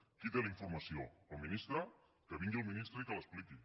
qui té la informació el ministre que vingui el ministre i que l’expliqui